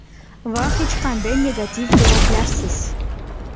Va hech qanday negativ javoblarsiz.